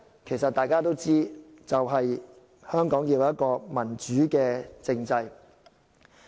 其實大家都知道，就是香港要有一個民主政制。